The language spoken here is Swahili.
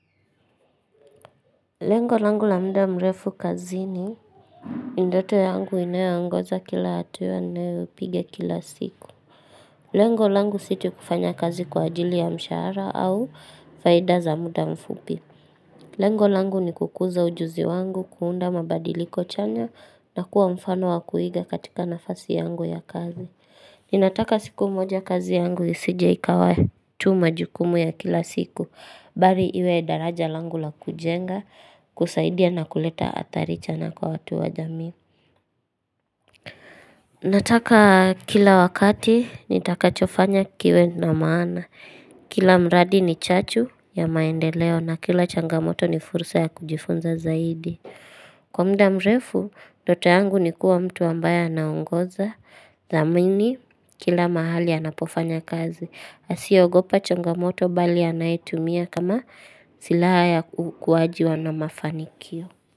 Lengo langu la muda mrefu kazini, ni ndoto yangu inayoongoza kila hatua ninayoipiga kila siku. Lengo langu si tu kufanya kazi kwa ajili ya mshahara, au faida za muda mfupi Lengo langu ni kukuza ujuzi wangu, kuunda mabadiliko chanya, na kuwa mfano wa kuiga katika nafasi yangu ya kazi Ninataka siku moja kazi yangu isijie ikawa tu majukumu ya kila siku Bari iwe daraja langu la kujenga, kusaidia, na kuleta adhari chana kwa watu wa jamii Nataka kila wakati nitakachofanya kiwe na maana Kila mradi ni chachu ya maendeleo, na kila changamoto ni fursa ya kujifunza zaidi. Kwa muda mrefu, ndoto yangu ni kuwa mtu ambaye naongoza Zamaini kila mahali anapofanya kazi, asiyeogopa changamoto mbali anaitumia kama silaha ya kuwajwa na mafanikio.